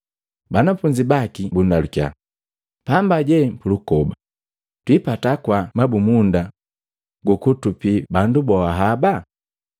Banafunzi baki bundalukya, “Pamba jee pulukoba twiipata kwaa mabumunda gukutupii bandu boa haba?”